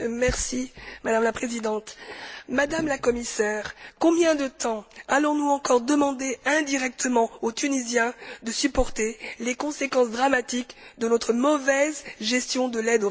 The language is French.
Madame la Présidente, Madame la Commissaire, combien de temps allons nous encore demander indirectement aux Tunisiens de supporter les conséquences dramatiques de notre mauvaise gestion de l'aide aux réfugiés?